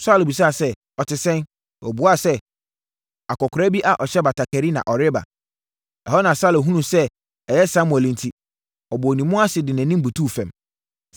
Saulo bisaa sɛ, “Ɔte sɛn?” Ɔbuaa sɛ, “Akɔkoraa bi a ɔhyɛ batakari, na ɔreba.” Ɛhɔ na Saulo hunuu sɛ ɛyɛ Samuel enti, ɔbɔɔ ne mu ase de nʼanim butuu fam.